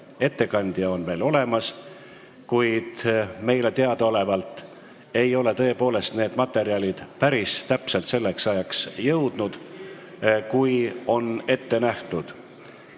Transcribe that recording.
" Ettekandja on olemas, kuid meile teadaolevalt ei ole materjalid tõepoolest rahvasaadikuteni jõudnud päris täpselt selleks ajaks, kui ette nähtud on.